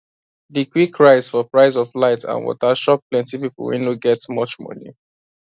the quick rise for price of light and water shock plenty people wey no get much money